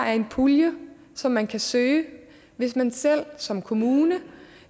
er en pulje som man kan søge hvis man selv som kommune